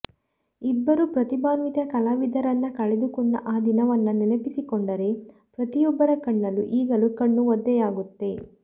ಇಬ್ಬರು ಪ್ರತಿಭಾನ್ವಿತ ಕಲಾವಿದರನ್ನ ಕಳೆದುಕೊಂಡ ಆ ದಿನವನ್ನ ನೆನಪಿಸಿಕೊಂಡರೆ ಪ್ರತಿಯೊಬ್ಬರ ಕಣ್ಣಲ್ಲೂ ಈಗಲೂ ಕಣ್ಣು ಒದ್ದೆಯಾಗುತ್ತೆ